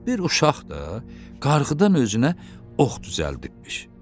Bir uşaq da qarğıdan özünə ox düzəltibmiş.